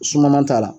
Suman t'a la